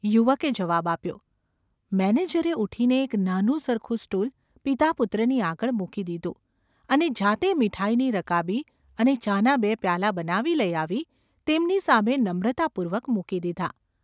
’ યુવકે જવાબ આપ્યો. મેનેજરે ઊઠીને એક નાનું સરખું સ્ટૂલ પિતાપુત્રની આગળ મૂકી દીધું અને જાતે મીઠાઈની રકાબી અને ચાના બે પ્યાલા બનાવી લઈ આવી તેમની પાસે નમ્રતાપૂર્વક મૂકી દીધા.